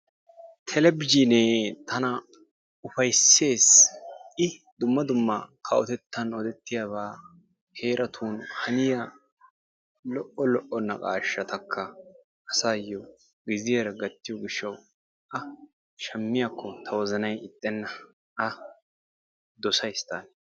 Televizhinee tana ufayssees. I dumma dumma kawotettan odetiyaaba heeratu haniya lo''o lo''o naqashshataka asayyo giziyaara gattiyo gishshawu a shaammiyaakko ta wozanay ixxenna a dossay ta.